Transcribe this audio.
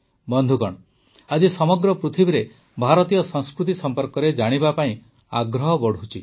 ବନ୍ଧୁଗଣ ଆଜି ସମଗ୍ର ପୃଥିବୀରେ ଭାରତୀୟ ସଂସ୍କୃତି ସମ୍ପର୍କରେ ଜାଣିବା ପାଇଁ ଆଗ୍ରହ ବଢ଼ୁଛି